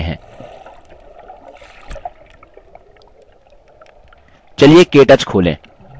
चलिए के टच खोलें